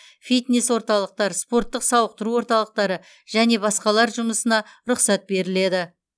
фитнес орталықтар спорттық сауықтыру орталықтары және басқалар жұмысына рұқсат беріледі